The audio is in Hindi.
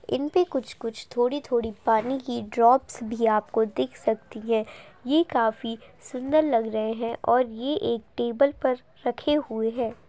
इन पे कुछ कुछ थोड़ी थोड़ी पानी की ड्रॉपस भी आपको दिख सकती है ये काफी सुंदर लग रहे है और ये एक टेबल पर रखे हुए है ।